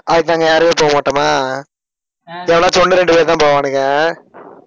அதுக்கு நாங்க யாருமே போகமாட்டோமா எவனாச்சும் ஒண்ணு ரெண்டு பேர் தான் போவானுக.